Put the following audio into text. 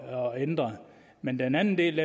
og ændret men den anden del